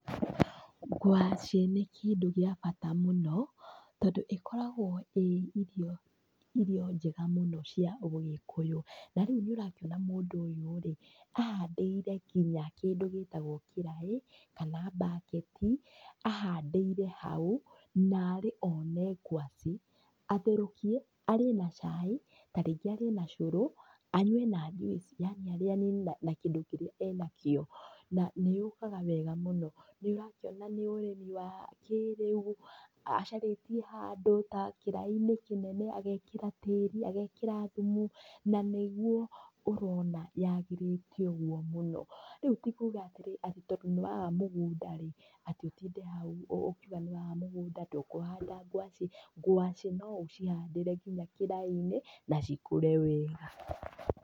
Ngwaci nĩ kĩndũ gĩa bata mũno tondũ ĩkoragwo ĩ irio njega mũno cia ũgĩkũyũ, na rĩu nĩ ũrakĩona mũndũ ũyũ rĩ ahandĩire nginya kĩraĩ kana bucket i ahandĩire hau. Narĩ one ngwacĩ atherũkie arĩe na cai tarĩngĩ arĩe na cũrũ anyue na njuici yani arĩanĩrie na kĩndũ kĩrĩa enakĩo, na nĩyũkaga wega mũno. Nĩ ũrakĩona nĩ ũrĩmi wa kĩrĩu acarĩtie handũ ta kĩra-inĩ kĩnene agekĩra tĩri agekĩra thumu na nĩguo ũrona yagĩrĩte ũguo mũno. Rĩu ti kuga atĩrĩrĩ atĩ tondũ nĩ waga mũgũnda rĩ atĩ ũtinde hau ũkiũga nĩ waga mũgũnda atĩ ndũkũhanda ngwacĩ, ngwacĩ no ũcihandĩre nginya kĩraĩ-inĩ na cikũre wega.